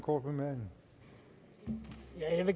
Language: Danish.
og